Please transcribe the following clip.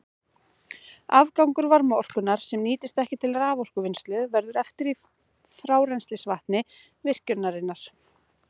Afgangur varmaorkunnar, sem nýtist ekki til raforkuvinnslu, verður eftir í frárennslisvatni virkjunarinnar.